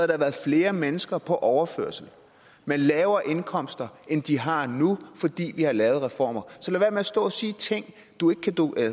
der været flere mennesker på overførsel med lavere indkomster end de har nu fordi vi har lavet reformer så lad at stå og sige ting